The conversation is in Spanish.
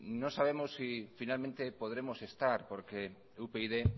no sabemos si finalmente podremos estar porque upyd